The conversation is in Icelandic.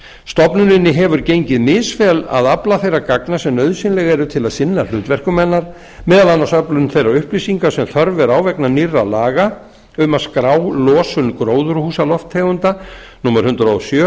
stofnuninni hefur gengið misvel að afla þeirra gagna sem nauðsynleg eru til að sinna hlutverkum hennar meðal annars öflun þeirra upplýsinga sem þörf er á vegna nýrra laga um að skrá losun gróðurhúsalofttegunda númer hundrað og sjö